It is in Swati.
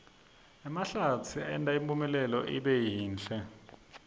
emahlatsi enta impumlanga ibe yinhle